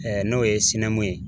n'o ye ye